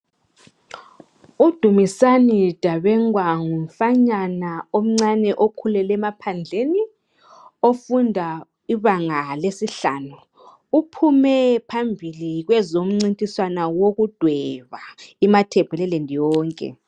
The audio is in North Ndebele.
u Dumisani Dabengwa ngumfanyana omncinyane okhulele emaphandleni ofunda ibanga lesihlanu uphume phambili kwezomncintiswano wokudweba i matebelaland yonke